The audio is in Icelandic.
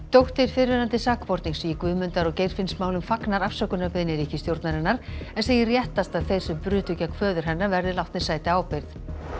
dóttir fyrrverandi sakbornings í Guðmundar og Geirfinnsmálum fagnar afsökunarbeiðni ríkisstjórnarinnar en segir réttast að þeir sem brutu gegn föður hennar verði látnir sæta ábyrgð